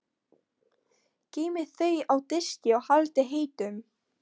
Geymið þau á diski og haldið heitum.